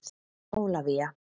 Ólafía